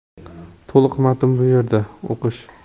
To‘liq matn bu yerda → o‘qish .